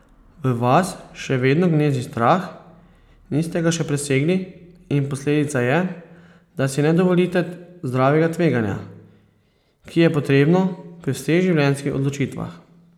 V vas še vedno gnezdi strah, niste ga še presegli in posledica je, da si ne dovolite zdravega tveganja, ki je potrebno pri vseh življenjskih odločitvah.